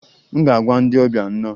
M ga-agwa ndị ọbịa 'nno'